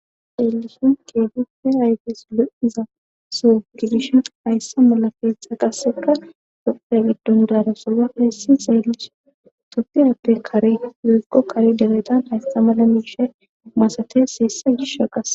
Xeellishun keebipfe hayges lu'iza so gidishen hayssa mala feexa qassera dopiya giddon dara solba hayssi xeelish toppiyappe kare zeegqo kari debetan haysta mala miishe masates heessa gisha qase